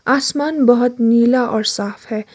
आसमान बहोत नीला और साफ है।